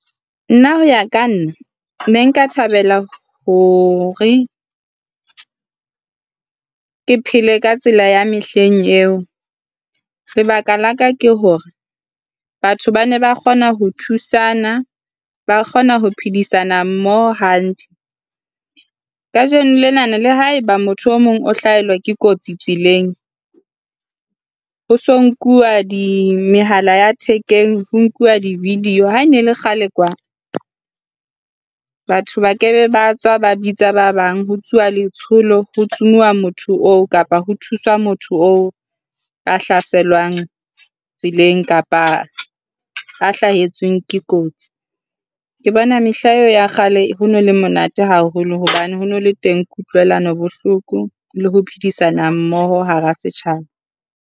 Nna ho ya ka nna, ne nka thabela hore ke phele ka tsela ya mehleng eo. Lebaka la ka ke hore batho ba ne ba kgona ho thusana, ba kgona ho phedisana mmoho hantle. Kajeno lena le haeba motho e mong o hlaelwa ke kotsi tseleng. Ho so nkuwa mehala ya thekeng, ho nkuwa di-video ha ne le kgale kwa batho ba ke ba tswa ba bitsa ba bang ho tsuwa letsholo, ho tsumuwa motho oo kapa ho thusa motho oo, a hlaselwang tseleng kapa a hlahetsweng ke kotsi. Ke bona mehla eo ya kgale ho nole monate haholo hobane hona le teng kutlwelano bohloko le ho phedisana mmoho hara setjhaba.